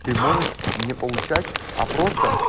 ты можешь не поучать а просто